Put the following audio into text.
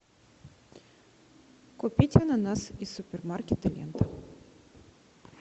купить ананас из супермаркета лента